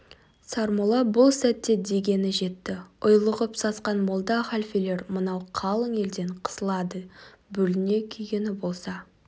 сармолла бұл сәтте дегеніне жетті ұйлығып сасқан молда халфелер мынау қалың елден қысылады бүліне күйгені болса